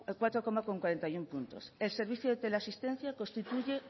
cuatro coma cuarenta y uno puntos el servicio de teleasistencia constituye